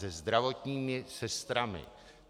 Se zdravotními sestrami.